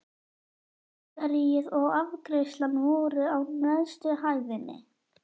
Bakaríið og afgreiðslan voru á neðstu hæðinni.